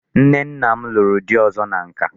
Nne nna m lụrụ di ọzọ na nka.